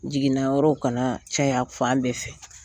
Jiginnayɔrɔw kana caya fan bɛɛ fɛ.